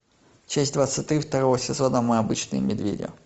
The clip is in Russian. часть двадцать три второго сезона мы обычные медведи